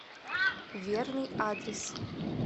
верный адрес